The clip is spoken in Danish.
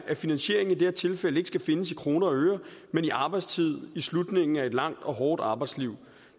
at finansieringen i det her tilfælde ikke skal findes i kroner og øre men i arbejdstid i slutningen af et langt og hårdt arbejdsliv